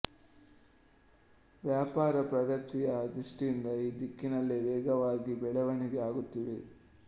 ವ್ಯಾಪಾರ ಪ್ರಗತಿಯ ದೃಷ್ಟಿಯಿಂದ ಈ ದಿಕ್ಕಿನಲ್ಲಿ ವೇಗವಾಗಿ ಬೆಳೆವಣಿಗೆ ಆಗುತ್ತಿದೆ